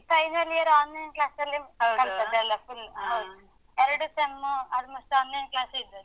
Final year online class ಲ್ಲಿ ಕಲ್ತದ್ದೆಲ್ಲ. full ಹೌದ್ ಎರ್ಡು ಸೆಮ್ಮು almost online class ಇದ್ದದ್ದು.